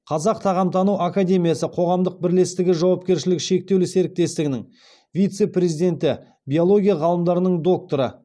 қазақ тағамтану академиясы қоғамдық бірлестігі жауапкершілігі шектеулі серіктестігінің вице президенті биология ғалымдарының докторы